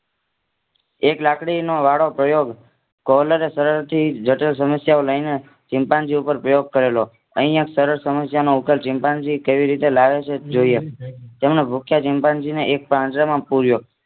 એક લાકડીનો વાળો પ્રયોગ જટિલ સમસ્યાઓ લઇ ને ચિંપાંઝીઓ ઉપર પ્રયોગ કરેલો અહીંયા સરળ સમસ્યાનો ઉકેલ ચિમ્પાન્જી કેવી રીતે લાવે છે તે જોઈએ તેમને ભૂખ્યા ચિમ્પાન્જી ને એક પાંજરામાં પૂર્યો